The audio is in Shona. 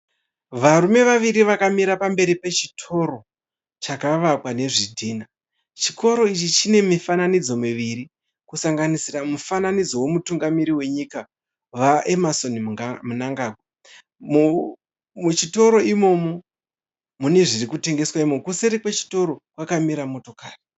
Varume vaviri vakamira pamberi pechitoro chakavakwa nezvidhinha. Chitoro ichi chine mifananidzo miviri kusanganisira mufananidzo wemutungamiri wenyika VaEmmerson Munangagwa. Muchitoro imomo mune zvirikutengeswa imomo. Kuseri kwechitoro kwakamira motokari.